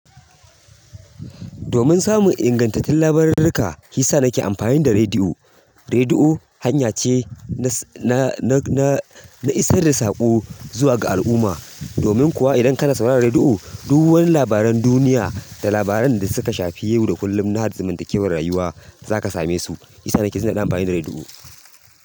Domin samun ingantattun labarurruka, hisa nake amfani da rediyo. Rediyo hanya ce na, na, na isar da saƙo zuwa ga al'umma. Domin kuwa idan kana sauraron rediyo, duk wani labaran duniya da labaran da suka shafi yau da kullum na zamantakewar rayuwa za ka same su. Shiyasa nake jin daɗin amfani da rediyo.